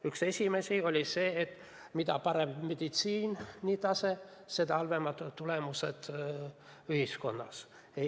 Üks esimesi on see, et mida parem on meditsiini tase, seda halvemad on tulemused ühiskonnas.